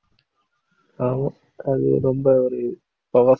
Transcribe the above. ஆமா. அது ரொம்ப ஒரு powerful